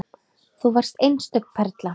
Þú varst einstök perla.